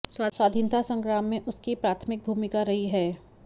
स्वाधीनता संग्राम में उसकी प्राथमिक भूमिका रही है